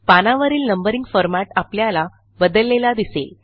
पानावरील numbering format आपल्याला बदललेला दिसेल